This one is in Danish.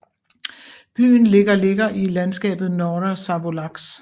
Byen ligger ligger i landskabet Norra Savolax